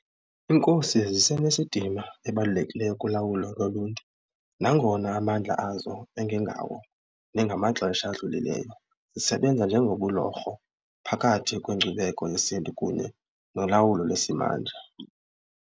IiNkosi zisenesidima ebalulekileyo kulawulo loluntu nangona amandla azo engengawo nengamaxesha adlulileyo. Zisebenza njengobulorho phakathi kwenkcubeko yesiNtu kunye nolawulo lwesimanje.